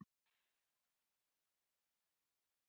Fiskurinn lokast þá af í vatninu.